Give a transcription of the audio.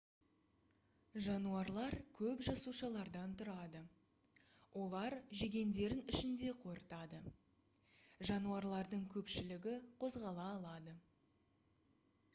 жануарлар көп жасушалардан тұрады олар жегендерін ішінде қорытады жануарлардың көпшілігі қозғала алады